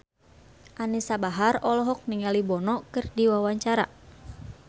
Anisa Bahar olohok ningali Bono keur diwawancara